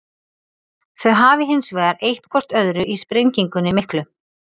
Þau hafi hins vegar eytt hvort öðru í sprengingunni miklu.